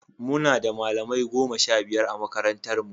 Muna da malamai goma sha biyar a makarantarmu.